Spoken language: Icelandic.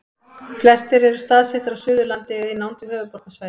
flestir eru staðsettir á suðurlandi eða í nánd við höfuðborgarsvæðið